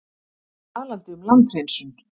Talaði um landhreinsun.